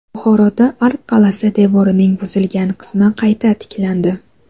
Buxoroda Ark qal’asi devorining buzilgan qismi qayta tiklandi.